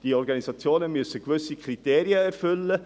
Diese Organisationen müssen bestimmte Kriterien erfüllen.